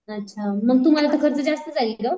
अच्छा मग तुम्हाला तर खर्च जास्त जाईल ग.